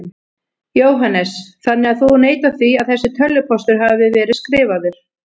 Jóhannes: Þannig að þú neitar því að þessi tölvupóstur hafi verið skrifaður?